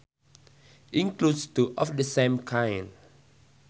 includes two of the same kind